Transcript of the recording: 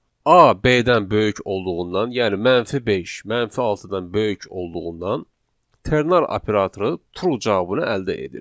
A B-dən böyük olduğundan, yəni -5 -6-dan böyük olduğundan ternar operatoru true cavabını əldə edir.